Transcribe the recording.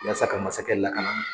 Yaasa ka masakɛ lakana